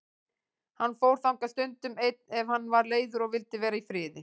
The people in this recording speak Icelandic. Hann fór þangað stundum einn ef hann var leiður og vildi vera í friði.